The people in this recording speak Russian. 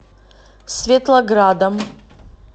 светлоградом